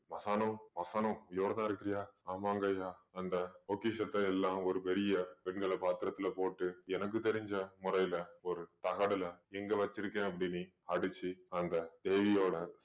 மாசாணோம் மாசாணோம் உயிரொடதான் இருக்கிறியா ஆமாங்கய்யா அந்த பொக்கிஷத்தை எல்லாம் ஒரு பெரிய வெங்கல பாத்திரத்திலே போட்டு எனக்கு தெரிஞ்ச முறையிலே ஒரு தகடுல எங்க வச்சிருக்கேன் அப்படின்னு அடிச்சு அங்கே தேவியோட